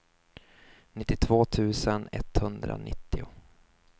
nittiotvå tusen etthundranittio